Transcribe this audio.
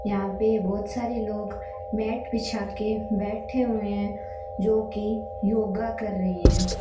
यहां पे बहोत सारे लोग मैट बिछा के बैठे हुए हैं जो की योगा कर रहे हैं।